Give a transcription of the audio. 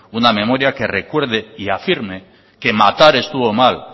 una memoria que recuerde y afirme que matar estuvo mal